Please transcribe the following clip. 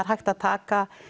hægt að taka